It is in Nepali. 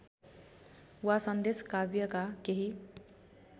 वा सन्देशकाव्यका केही